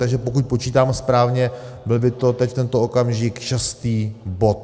Takže pokud počítám správně, byl by to v tento okamžik šestý bod.